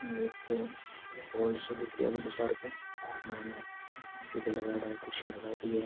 ये एक हॉल सो दिख रियो है बड्डो सारो को मई ने स्पीकर लगयेड़ो है कुर्सियां लगयेड़ी है।